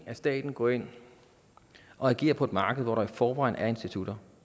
at staten går ind og agerer på et marked hvor der i forvejen er institutter